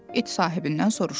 İt sahibindən soruşdu.